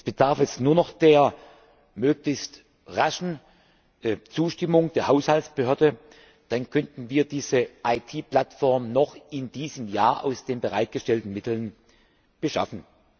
Es bedarf jetzt nur noch der möglichst raschen Zustimmung der Haushaltsbehörde, dann könnten wir diese IT Plattform noch in diesem Jahr aus den bereitgestellten Mitteln beschaffen.